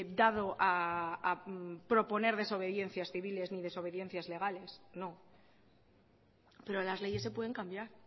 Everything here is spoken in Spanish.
dado a proponer desobediencias civiles ni desobediencias legales no pero las leyes se pueden cambiar